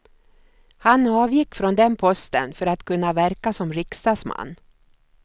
Han avgick från den posten för att kunna verka som riksdagsman.